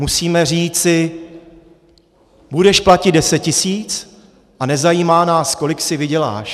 Musíme říci: budeš platit deset tisíc a nezajímá nás, kolik si vyděláš.